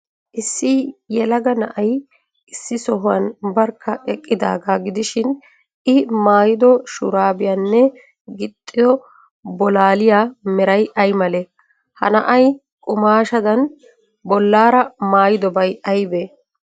Issi yelaga na'ay issi sohuwan barkka eqqidaagaa gidishin,I maayido shuraabiyaanne gixxido bolaaliya meray ay malee? Ha na'ay qumaashshadn bollaara maayidobay aybee?